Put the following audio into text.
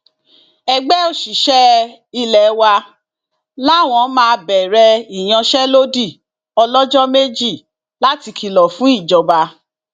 ẹgbẹ òṣìṣẹ ilé wa làwọn máa bẹrẹ ìyanṣẹlódì ọlọjọ méjì láti kìlọ fún ìjọba